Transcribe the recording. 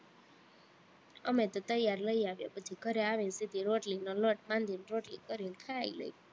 અમે તો તૈયાર લઇ આવીએ, પછી ઘરે આવીને સીધો રોટલીનો લોટ બાંધીને રોટલી કરીને ખાઈ લઈએ